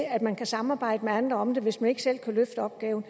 at man kan samarbejde med andre om det hvis man ikke selv kan løfte opgaven